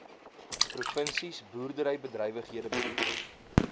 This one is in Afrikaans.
provinsies boerderybedrywighede beoefen